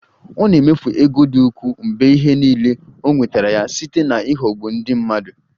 Ọ na-emefu ego dị ukwuu mgbe ihe niile o nwetara ya site na ịghọgbu ndị mmadụ